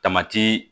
Tamati